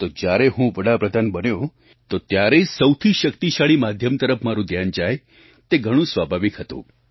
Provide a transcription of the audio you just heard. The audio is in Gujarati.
તો જ્યારે હું વડા પ્રધાન બન્યો ત્યારે સૌથી શક્તિશાળી માધ્યમ તરફ મારું ધ્યાન જાય તે ઘણું સ્વાભાવિક હતું